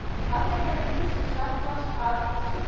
Þannig hefur ís safnast að skipinu